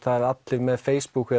það eru allir með Facebook